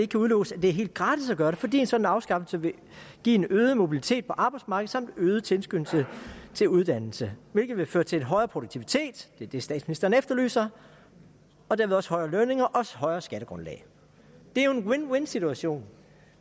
kan udelukkes at det er helt gratis at gøre det fordi en sådan afskaffelse vil give en øget mobilitet på arbejdsmarkedet samt øget tilskyndelse til uddannelse hvilket vil føre til en højere produktivitet det er det statsministeren efterlyser og derved også højere lønninger og højere skattegrundlag det er jo en win win situation